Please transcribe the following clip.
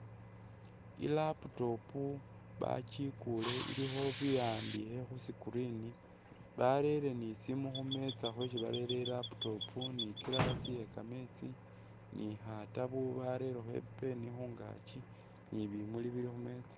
I'laptop bakikule ilikho biwandikhe khu screen barere ni issimu khu metsa khwesi barere i'laptop ni i'glass ye kameetsi ni khatabu barelekho i'pen khungaaki ni bimuli bili khu meetsa.